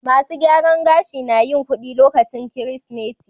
Masun gyaran gashi na yin kudi lokacin Kirsimeti.